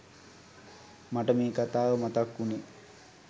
මට මේ කතාව මතක් උනේ.